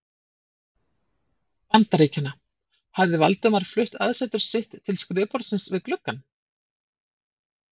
Bandaríkjanna, hafði Valdimar flutt aðsetur sitt til skrifborðsins við gluggann.